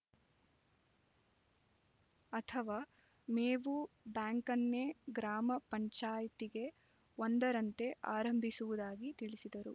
ಅಥವಾ ಮೇವು ಬ್ಯಾಂಕನ್ನೇ ಗ್ರಾಮ ಪಂಚಾಯ್ತಿಗೆ ಒಂದರಂತೆ ಆರಂಭಿಸುವುದಾಗಿ ತಿಳಿಸಿದರು